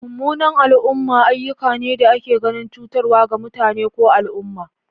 Mummunan al'umma ayyuka ne da ake ganin cutarwa ga mutane ko al'umma.